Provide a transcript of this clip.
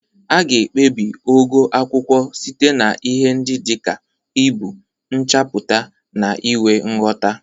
A ga-ekpebi ogo akwụkwọ site na ihe ndị dị ka ibu, nchapụta, na inwe nghota.